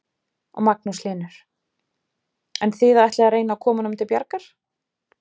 Magnús Hlynur: En þið ætlið að reyna að koma honum til bjargar?